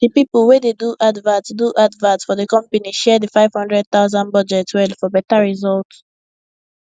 d people wey dey do advert do advert for d company share d 500000 budget well for better result